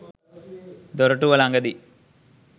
දොරටුව ළඟදී